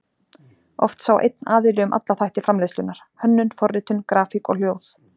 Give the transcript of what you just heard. Oft sá einn aðili um alla þætti framleiðslunnar: Hönnun, forritun, grafík og hljóð.